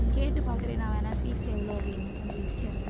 கேட்டுப் பாக்குறேன் நான் வேணா fees எவ்வளவு அப்படின்னு கொஞ்சம் easy யா